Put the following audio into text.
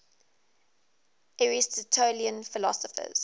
aristotelian philosophers